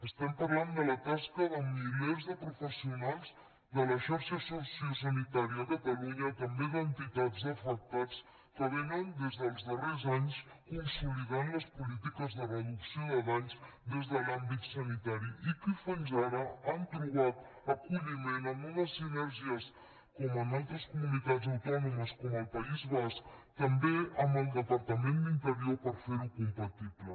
estem parlant de la tasca de milers de professionals de la xarxa sociosanitària a catalunya també d’entitats d’afectats que des dels darrers anys han consolidat les polítiques de reducció de danys des de l’àmbit sanitari i que fins ara han trobat acolliment en unes sinergies com en altres comunitats autònomes com al país basc també amb el departament d’interior per fer ho compatible